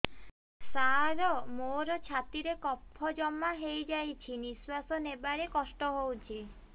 ସାର ମୋର ଛାତି ରେ କଫ ଜମା ହେଇଯାଇଛି ନିଶ୍ୱାସ ନେବାରେ କଷ୍ଟ ହଉଛି